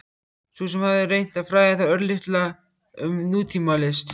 Sú sem hafði reynt að fræða þá örlítið um nútímalist?